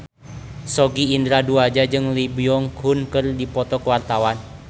Sogi Indra Duaja jeung Lee Byung Hun keur dipoto ku wartawan